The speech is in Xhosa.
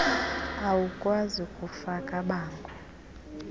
awukwazi kufaka bango